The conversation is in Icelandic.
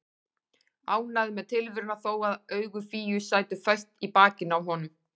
Ánægður með tilveruna þó að augu Fíu sætu föst í bakinu á honum.